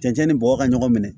Cɛncɛn ni bɔgɔ ka ɲɔgɔn minɛ